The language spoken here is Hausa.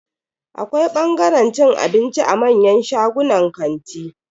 Akwai bangaren cin abinci a manyan shagunan kanti.